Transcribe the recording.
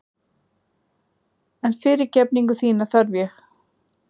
En fyrirgefningu þína þarf ég.